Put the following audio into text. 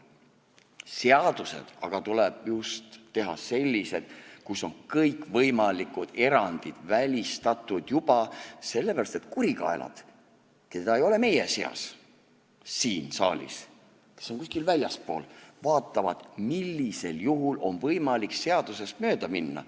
Seadused aga tuleb teha just sellised, kus on juba kõik võimalikud erandid välistatud, sellepärast et kurikaelad, keda ei ole meie seas siin saalis, kes on kuskil väljaspool, vaatavad, millisel juhul on võimalik seadusest mööda minna.